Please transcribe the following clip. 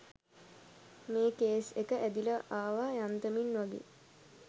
මේ කේස් එක ඇදිල ආව යන්තමින් වගේ